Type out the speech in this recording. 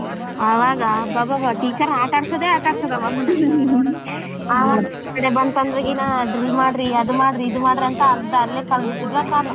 ಅವಾಗ ಅಬ್ಬಬ್ಬಬ್ಬಾ teacher ನಾ ಆಟ ಆಡ್ಸದೆ ಆಟಾಡಿಸುದು ಆವಮ್ಮನ್ನ ಬಂತಂದ್ರೆ ದಿನ drill ಮಾಡ್ರಿ ಅದ್ ಮಾಡ್ರಿ ಇದ್ ಮಾಡ್ರಿ ಅಂತ ಅರ್ಧ ಅಲ್ಲೇ ಕಳ್ದು ಬಿಡ್ತಿದ್ವಾ ಕಾಲ.